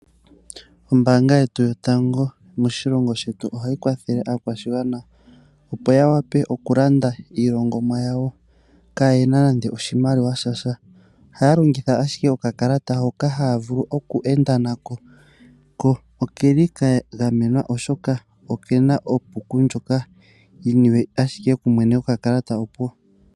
Ombaanga yetu yotango moshilongo shetu ohayi kwathele aakwashigwana opo yawape okulanda iilandomwa yawo kaaye na nande oshimaliwa shasha. Ohaya longitha ashike okakalata hoka haya vule okweenda na ko, ko okeli kagamenwa oshoka okena onomola yomeholamo ndjoka yiniwe owala kumwene gokakalata opuwo.